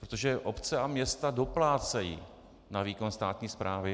Protože obce a města doplácejí na výkon státní správy.